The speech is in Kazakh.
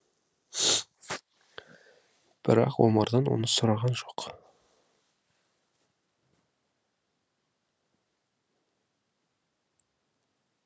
бірақ омардан оны сұраған жоқ